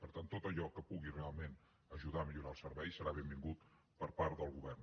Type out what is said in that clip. per tant tot allò que pugui realment ajudar a millorar el servei serà benvingut per part del govern